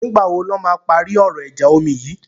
Nìgbà wo lọ́ máa parí ọ̀rọ̀ ìjà omi yìí?